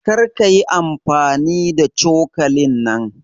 Kar kayi amfani da cokalin nan.